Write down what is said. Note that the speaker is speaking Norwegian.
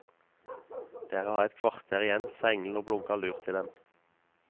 Dere har et kvarter igjen, sa engelen, og blunket lurt til dem.